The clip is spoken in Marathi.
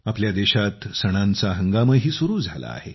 आपल्या देशात सणांचा हंगामही सुरू झाला आहे